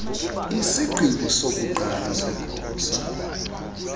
isigqibo sokuqala segosa